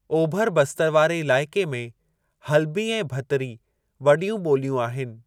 ओभर बस्तर वारे इलाइक़े में हल्बी ऐं भतरी वॾियूं ॿोलियूं आहिनि।